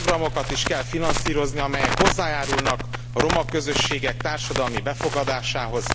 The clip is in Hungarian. Olyan programokat is kell finanszírozni, amelyek hozzájárulnak a roma közösségek társadalmi befogadásához.